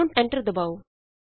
ਹੁਣ ਐਂਟਰ ਦਬਾਉ